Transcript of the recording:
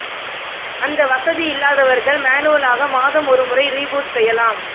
அந்த வசதி இல்லாதவர்கள் மேனுவலாக மாதம் ஒரு முறை ரீபூட் செய்யலாம்